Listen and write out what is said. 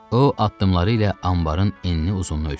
O addımları ilə anbarın enini-uzunu ölçdü.